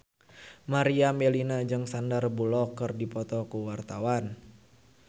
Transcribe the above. Meriam Bellina jeung Sandar Bullock keur dipoto ku wartawan